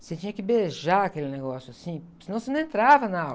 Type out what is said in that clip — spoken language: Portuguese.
Você tinha que beijar aquele negócio, assim, senão você não entrava na aula.